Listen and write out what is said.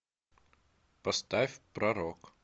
поставь пророк